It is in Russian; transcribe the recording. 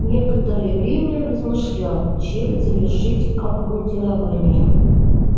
некоторое время размышлял чем завершить обмундирование